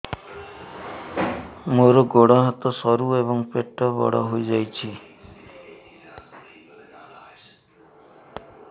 ମୋର ଗୋଡ ହାତ ସରୁ ଏବଂ ପେଟ ବଡ଼ ହୋଇଯାଇଛି